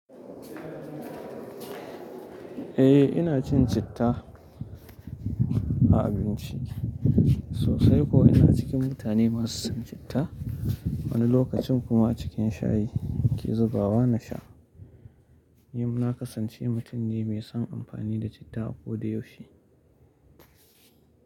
Eh ina cin citta a abinci sosai kuwa ina cikin mutane masu son citta. Wani lokacin kuma cikin shayi ke zubawa na sha. Ni na kasance mutum ne mai son amfani da citta a koda yaushe.